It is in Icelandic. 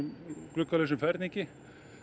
gluggalausum ferningi